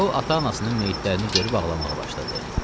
O ata-anasının meyitlərini görüb ağlamağa başladı.